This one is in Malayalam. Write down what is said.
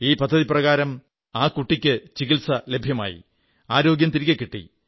ഈ പദ്ധതി പ്രകാരം ആ കുട്ടിക്ക് ചികിത്സ ലഭ്യമായി ആരോഗ്യം തിരികെ കിട്ടി